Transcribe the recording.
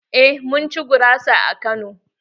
Eh mun ci gurasa a Kano.